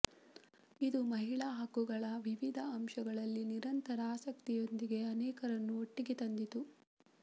ಇದು ಮಹಿಳಾ ಹಕ್ಕುಗಳ ವಿವಿಧ ಅಂಶಗಳಲ್ಲಿ ನಿರಂತರ ಆಸಕ್ತಿಯೊಂದಿಗೆ ಅನೇಕರನ್ನು ಒಟ್ಟಿಗೆ ತಂದಿತು